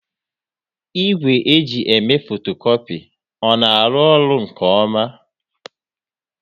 Igwe e ji eme fotokopi ọ na arụ ọrụ nke ọma?